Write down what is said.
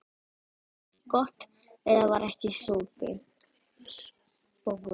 Gott ef það var ekki spói.